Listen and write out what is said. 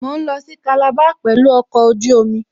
Mò ń lọ sí Calabar pẹ̀lú ọkọ̀ ojú omi